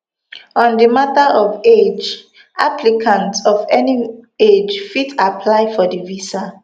on di mata of age applicants of any age fit apply for di visa